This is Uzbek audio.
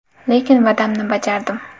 Lekin, va’damni bajardim.